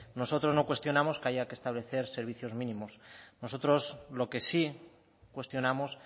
nosotros no cuestionamos que haya que establecer servicios mínimos nosotros lo que sí cuestionamos